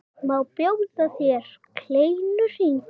Má bjóða þér kleinu?